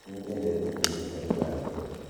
Nĩnyendete kũĩrũta lũgha njerũ